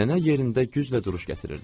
Nənə yerində güclə duruş gətirirdi.